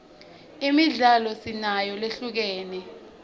imidlalo sinayo lehlukene